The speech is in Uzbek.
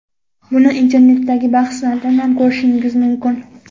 Buni internetdagi bahslardan ham ko‘rishingiz mumkin.